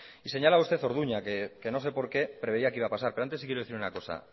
y señalaba usted orduña que no sé porqué previa que iba a pasar pero antes sí que quiero decir una cosa